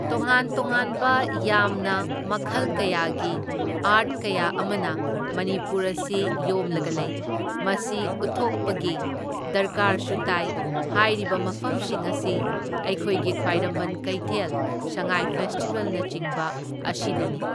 ꯇꯣꯉꯥꯟ ꯇꯣꯉꯥꯟꯕ ꯌꯥꯝꯅ ꯃꯈꯜ ꯀꯌꯥꯒꯤ ꯑꯥꯔꯠ ꯀꯌꯥ ꯑꯃꯅ ꯃꯅꯤꯄꯨꯔ ꯑꯁꯤ ꯌꯣꯝꯂꯒ ꯂꯩ꯫ ꯃꯁꯤ ꯎꯠꯊꯣꯛꯄꯒꯤ ꯗꯔꯀꯥꯔꯁꯨ ꯇꯥꯏ, ꯍꯥꯏꯔꯤꯕ ꯃꯐꯝꯁꯤꯡ ꯑꯁꯤ ꯑꯩꯈꯣꯏꯒꯤ ꯈ꯭ꯋꯥꯏꯔꯝꯕꯟ ꯀꯩꯊꯦꯜ, ꯁꯉꯥꯏ ꯐꯦꯁꯇꯤꯕꯦꯜꯅꯆꯤꯡꯕ ꯑꯁꯤꯗꯅꯤ꯫